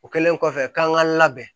O kɛlen kɔfɛ k'an ka labɛn